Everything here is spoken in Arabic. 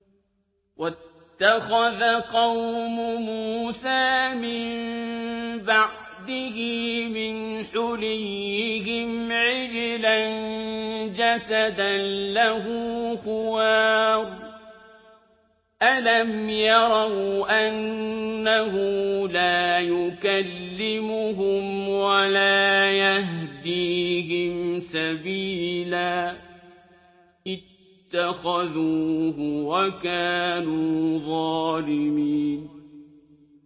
وَاتَّخَذَ قَوْمُ مُوسَىٰ مِن بَعْدِهِ مِنْ حُلِيِّهِمْ عِجْلًا جَسَدًا لَّهُ خُوَارٌ ۚ أَلَمْ يَرَوْا أَنَّهُ لَا يُكَلِّمُهُمْ وَلَا يَهْدِيهِمْ سَبِيلًا ۘ اتَّخَذُوهُ وَكَانُوا ظَالِمِينَ